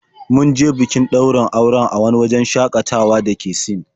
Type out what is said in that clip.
Mun je bikin ɗaurin auren a wani wajen shaƙatawa da ke Sin.